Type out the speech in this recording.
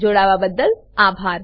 જોડાવાબદ્દલ આભાર